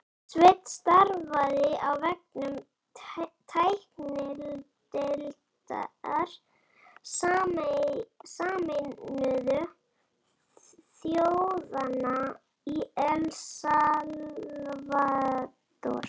Sveinn starfaði á vegum tæknideildar Sameinuðu þjóðanna í El Salvador